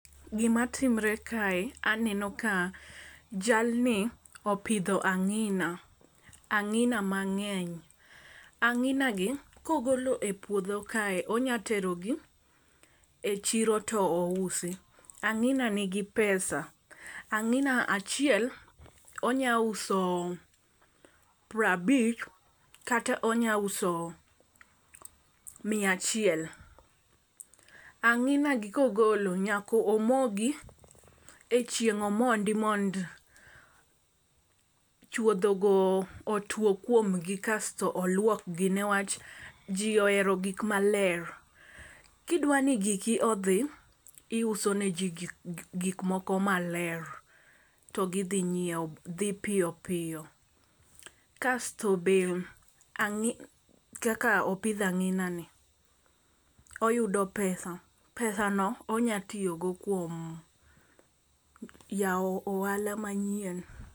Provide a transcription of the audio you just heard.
Gima timre kae aneno ka jal ni opidho ang'ina ang'ina mang'eny. Ang'ina gi ka ogole puodho kae onya tero gi e chiro to ousi angina nigi pesa. Ang'ina achiel onya uso prabich kata onya uso mia achiel. Ang'ina gi kogolo nyako mogi e chieng' omondi mondo chuodho go otuo kuomgi kasto oluokgi niwach jii ohero gik maler . Kidwa ni giko odhi , iuso ne jii gik maler to gi dhi nyiewo dhi piyo piyo. Kasto be ang'i kak opidh ang'ina ni oyudo pesa pesano onya tiyo go kuom yawo ohala manyien.